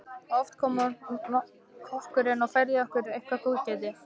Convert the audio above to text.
Oft kom kokkurinn og færði okkur eitthvert góðgæti.